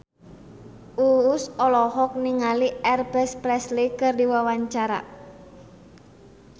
Uus olohok ningali Elvis Presley keur diwawancara